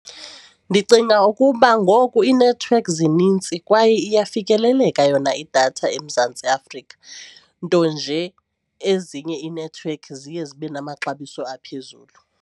Ndicinga ukuba ngoku iinethiwekhi zinintsi kwaye iyafikeleleka yona idatha eMzantsi Afrika nto nje ezinye iinethiwekhi ziye zibe namaxabiso aphezulu.